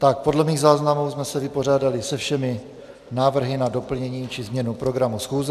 Tak podle mých záznamů jsme se vypořádali se všemi návrhy na doplnění či změnu programu schůze.